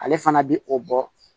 Ale fana bi o bɔ